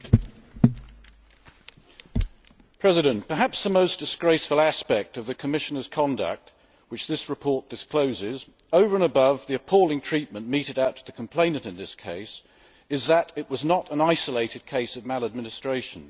Madam President, perhaps the most disgraceful aspect of the Commissioner's conduct which this report discloses, over and above the appalling treatment meted out to the complainant in this case, is that it was not an isolated case of maladministration.